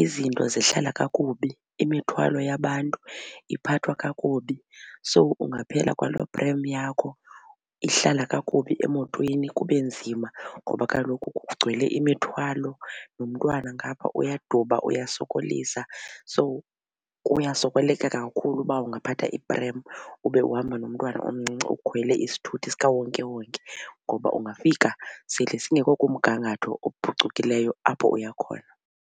izinto zihlala kakubi imithwalo yabantu iphathwa kakubi. So kungaphela kwaloo prem yakho ihlala kakubi emotweni kube nzima ngoba kaloku kugcwele imithwalo nomntwana ngapha uyaduba uyasokolisa. So kuyasokoleka khulu uba ungaphatha iprem ube uhamba nomntwana omncinci ukhwele isithuthi sikawonkewonke ngoba ungafika sesingekho kumgangatho ophucukileyo apho uya khona.